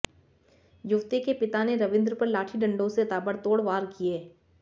युवती के पिता ने रविंद्र पर लाठी डंडों से ताबड़तोड़ वार किए